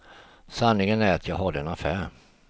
Sanningen är att jag hade en affär.